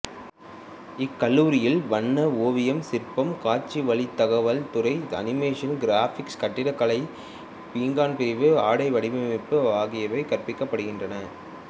இக்கல்லூரியில் வண்ண ஓவியம் சிற்பம் காட்சிவழித் தகவல் துறை அனிமேசன் கிராபிக்ஸ்கட்டடக்கலை பீங்கான் பிரிவு ஆடைவடிவமைப்பு ஆகியவை கற்பிக்கப்படுகின்றன